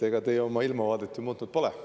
Ega teie oma ilmavaadet ju muutnud pole.